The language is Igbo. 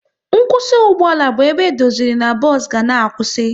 Nkwụsị ugboala bụ ebe edoziri n'bos ga na-akwụsị